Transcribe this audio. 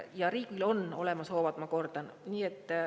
Ja riigil on olemas hoovad, ma kordan.